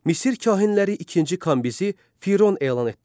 Misir kahinləri ikinci Kambizi Firon elan etdilər.